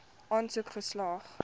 aansoek slaag